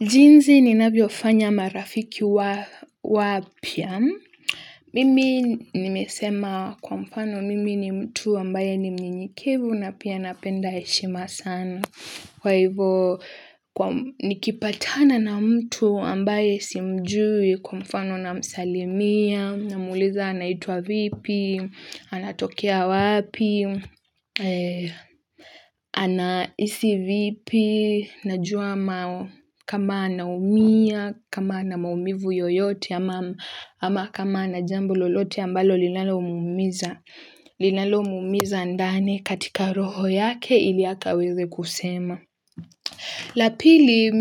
Jinsi ninavyofanya marafiki wapya. Mimi nimesema kwa mfano mimi ni mtu ambaye ni mnyenyekevu na pia napenda heshima sana. Kwa hivyo, nikipatana na mtu ambaye simjui kwa mfano namsalimia, namuuliza anaitwa vipi, anatokea wapi, anahisi vipi, najua kama anaumia, kama ana maumivu yoyote, ama kama ana jambo lolote ambalo linalomuumiza. Linalo muumiza ndani katika roho yake ili akaweze kusema la pili